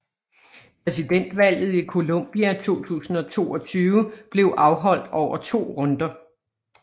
Præsidentvalget i Colombia 2022 blev afholdt over to runder